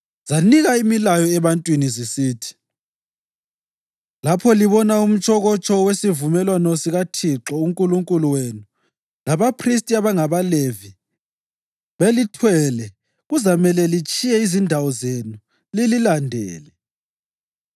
zinika imilayo ebantwini zisithi, “Lapho libona umtshokotsho wesivumelwano sikaThixo uNkulunkulu wenu labaphristi abangabaLevi belithwele kuzamele litshiye izindawo zenu lililandele.